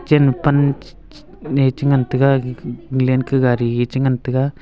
chen ma pan che che ee che ngan taga gag gallen ka gari e che ngan tega.